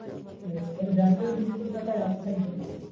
ওদের bank এর নিজেস্য তো একটা app থাকবে।